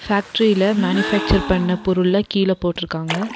ஃபேக்ட்ரில manufacture பண்ண பொருள்லா கீழ போட்ருக்காங்க.